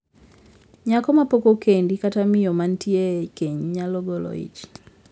Nyako mapok okendi kata miyo mantie e keny nyalo golo ich.